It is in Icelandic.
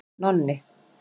Nonni